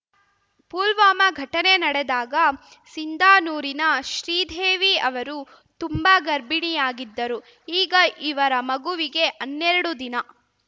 ಪುಲ್ವಾಮಾ ಘಟನೆ ನಡೆದಾಗ ಸಿಂಧಾನೂರಿನ ಶ್ರೀದೇವಿ ಅವರು ತುಂಬಾ ಗರ್ಭಿಣಿಯಾಗಿದ್ದರು ಈಗ ಇವರ ಮಗುವಿಗೆ ಹನ್ನೆರಡು ದಿನ